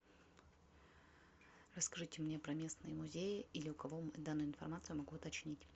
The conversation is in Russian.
расскажите мне про местные музеи или у кого данную информацию могу уточнить